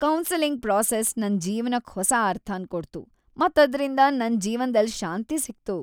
Counselling process ನನ್ ಜೀವನಕ್ ಹೊಸ ಅರ್ಥನ್ ಕೊಡ್ತು ಮತ್ ಅದ್ರಿಂದ್ ನನ್ ಜೀವನದಲ್ ಶಾಂತಿ ಸಿಕ್ತು.